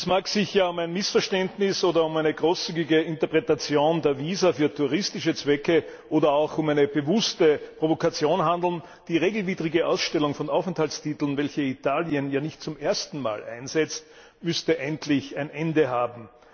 Es mag sich ja um ein Missverständnis oder um eine großzügige Interpretation der Visa für touristische Zwecke oder auch um eine bewusste Provokation handeln, die regelwidrige Ausstellung von Aufenthaltstiteln, welche Italien ja nicht zum ersten Mal einsetzt, muss jedoch endlich ein Ende haben.